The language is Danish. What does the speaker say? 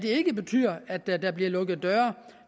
ikke betyder at der vil blive lukket døre